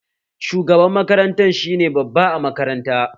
Shugaban makaranta shi ne babba a makaranta